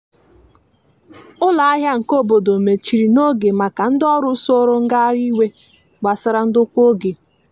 ụlọ ahia nke obodo mechiri n'oge maka ndi ọrụ soro ngahari iwe gbasara ndokwa oge.